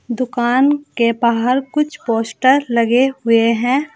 दुकान के बाहर कुछ पोस्टर लगे हुए हैं।